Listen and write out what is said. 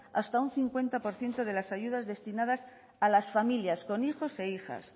hasta un cincuenta por ciento de las ayudas destinadas a las familias con hijos e hijas